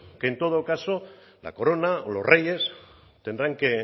que en todo caso la corona o los reyes tendrán que